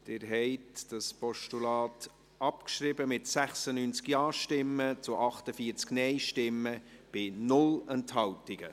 Sie haben das Postulat abgeschrieben, mit 96 Ja- zu 48 Nein-Stimmen bei 0 Enthaltungen.